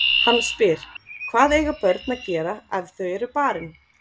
Hann spyr: Hvað eiga börn að gera ef þau eru barin?